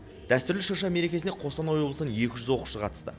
дәстүрлі шырша мерекесіне қостанай облысынан екі жүз оқушы қатысты